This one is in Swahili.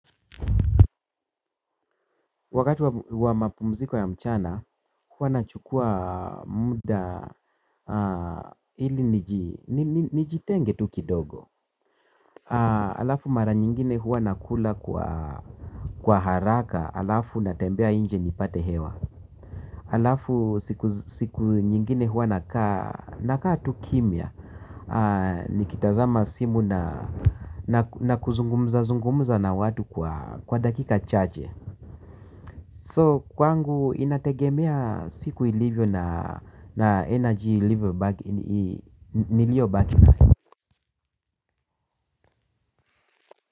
Wakati wa mapumziko ya mchana huwa nachukua muda ili nijitenge tu kidogo alafu mara nyingine huwa nakula kwa haraka alafu natembea nje nipate hewa alafu siku nyingine huwa nakaa tu kimya nikitazama simu na kuzungumuza zungumuza na watu kwa dakika chache kwa hivyo kwangu inategemea siku ilivyo na nishati niliyobaki nayo.